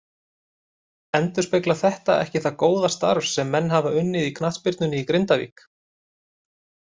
Endurspeglar þetta ekki það góða starf sem menn hafa unnið í knattspyrnunni í Grindavík.